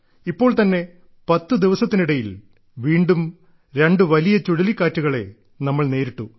ഇപ്പോൾ തന്നെ 10 ദിവസത്തിനിടയിൽ വീണ്ടും രണ്ടു വലിയ ചുഴലിക്കാറ്റുകളെ നമ്മൾ നേരിട്ടു